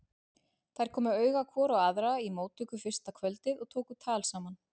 Þær komu auga hvor á aðra í móttöku fyrsta kvöldið og tóku tal saman.